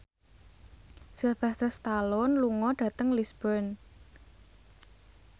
Sylvester Stallone lunga dhateng Lisburn